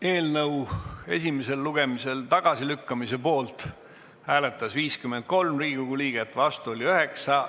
Hääletustulemused Eelnõu esimesel lugemisel tagasilükkamise poolt hääletas 53 Riigikogu liiget, vastu oli 9.